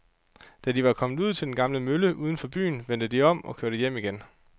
Da de var kommet ud til den gamle mølle uden for byen, vendte de om og kørte hjem igen.